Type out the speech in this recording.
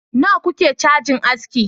nawa kuke cajin aski